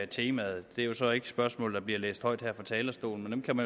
temaet det er så ikke spørgsmål der bliver læst højt her fra talerstolen men dem